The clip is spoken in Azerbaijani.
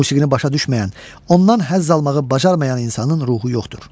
Musiqini başa düşməyən, ondan həzz almağı bacarmayan insanın ruhu yoxdur.